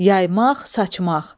Yaymaq, saçmaq.